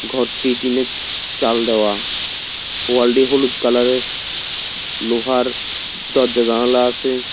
ঘরটি টিন -এর চাল দেওয়া ওয়াল -টি হলুদ কালার -এর লোহার দরজা জানালা আসে।